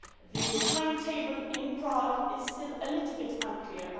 The timetable in Prague is still a little bit unclear.